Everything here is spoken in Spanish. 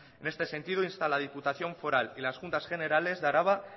en este sentido insta a la diputación foral y las juntas generales de araba